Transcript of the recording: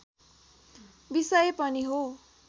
विषय पनि हो